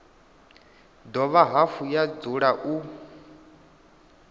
dovha hafhu ya dzula u